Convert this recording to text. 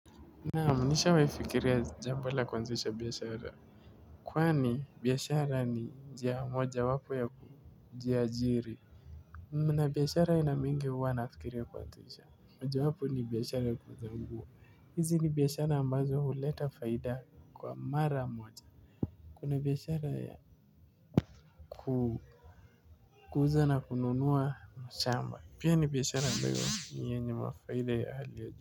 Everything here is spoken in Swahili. Naam nishawahi fikiria jambo la kuanzisha biashara. Kwani biashara ni njia mojawapo ya kujiajiri. Mna biashara aina mingi huwa nafikiria kuanzisha. Mojawapo ni biashara ya kuuza nguo. Hizi ni biashara ambazo huleta faida kwa mara moja. Kuna biashara ya kuuza na kununua mashamba. Pia ni biashara ambayo ni yenye mafaida ya hali ya juu.